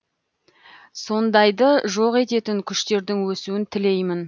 сондайды жоқ ететін күштердің өсуін тілеймін